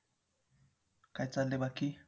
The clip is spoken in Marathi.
काय चाललंय बाकी